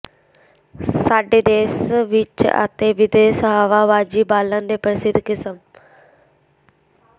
ਸਾਡੇ ਦੇਸ਼ ਵਿਚ ਅਤੇ ਵਿਦੇਸ਼ ਹਵਾਬਾਜ਼ੀ ਬਾਲਣ ਦੇ ਪ੍ਰਸਿੱਧ ਕਿਸਮ